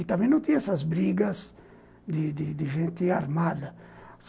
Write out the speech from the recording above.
E também não tinha essas brigas de de de gente armada.